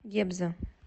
гебзе